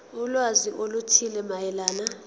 ulwazi oluthile mayelana